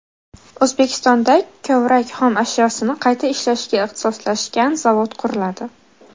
O‘zbekistonda kovrak xom ashyosini qayta ishlashga ixtisoslashgan zavod quriladi.